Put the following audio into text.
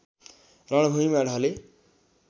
रणभूमिमा ढले